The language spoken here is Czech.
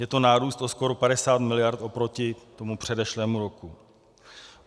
Je to nárůst o skoro 50 mld. oproti tomu předešlému roku.